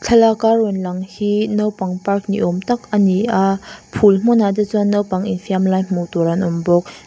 thlalaka rawn lang hi naupang park ni awm tak a ni a phul hmunah te chuan naupang infiam lai hmuh tur an awm bawk.